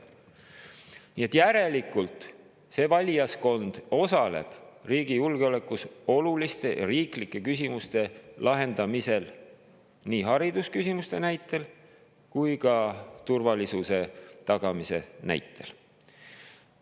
Nii et järelikult osaleb see valijaskond riigi julgeolekule oluliste riiklike küsimuste lahendamisel, nii haridusküsimuste kui ka turvalisuse tagamise näitel.